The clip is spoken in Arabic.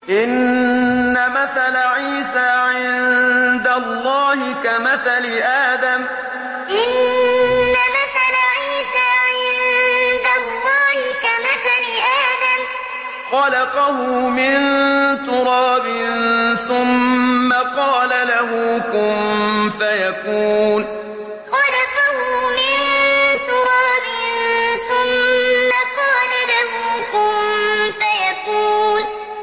إِنَّ مَثَلَ عِيسَىٰ عِندَ اللَّهِ كَمَثَلِ آدَمَ ۖ خَلَقَهُ مِن تُرَابٍ ثُمَّ قَالَ لَهُ كُن فَيَكُونُ إِنَّ مَثَلَ عِيسَىٰ عِندَ اللَّهِ كَمَثَلِ آدَمَ ۖ خَلَقَهُ مِن تُرَابٍ ثُمَّ قَالَ لَهُ كُن فَيَكُونُ